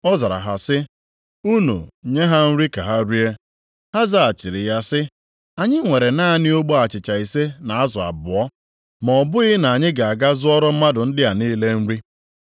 Ọ zara ha sị, “Unu nye ha nri ka ha rie.” Ha zaghachiri ya sị, “Anyị nwere naanị ogbe achịcha ise na azụ abụọ. Ma ọ bụghị na anyị ga aga zụọra mmadụ ndị a niile nri.”